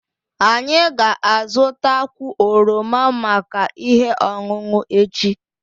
Anyị ga-azụta kwụ oroma maka ihe ọṅụṅụ echi